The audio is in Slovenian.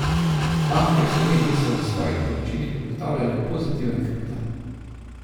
Banke v Sloveniji so v svojih poročilih ugotavljale pozitiven kapital.